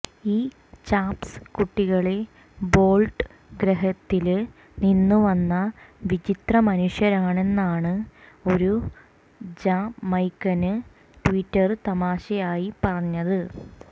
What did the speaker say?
ഈ ചാംപ്സ് കുട്ടികള് ബോള്ട്ട് ഗ്രഹത്തില് നിന്നുവന്ന വിചിത്രമനുഷ്യരാണെന്നാണ് ഒരു ജമൈക്കന് ട്വീറ്റര് തമാശയായി പറഞ്ഞത്